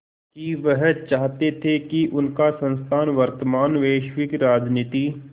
कि वह चाहते थे कि उनका संस्थान वर्तमान वैश्विक राजनीति